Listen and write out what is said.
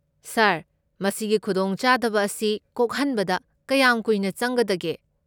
ꯁꯥꯔ, ꯃꯁꯤꯒꯤ ꯈꯨꯗꯣꯡꯆꯥꯗꯕ ꯑꯁꯤ ꯀꯣꯛꯍꯟꯕꯗ ꯀꯌꯥꯝ ꯀꯨꯏꯅ ꯆꯪꯒꯗꯒꯦ?